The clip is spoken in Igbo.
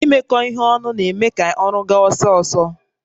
Imekọ ihe ọnụ na-eme ka ọrụ gaa ọsọ ọsọ